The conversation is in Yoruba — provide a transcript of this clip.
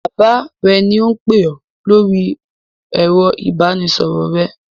Bàbá rẹ ni ó ń pè ọ lórí ẹ̀rọ ìbanisọ̀rọ̀ rẹ.